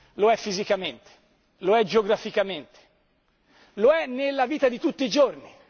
Lo è fisicamente, lo è geograficamente, lo è nella vita di tutti i giorni.